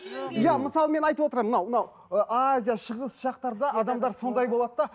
иә мысалы мен айтып отырамын мынау азия шығыс жақтарда адамдар сондай болады да